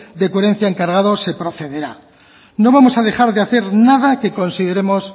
de coherencia encargado se procederá no vamos a dejar de hacer nada que consideremos